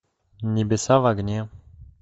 небеса в огне